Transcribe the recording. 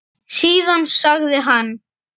Síðan sagði hann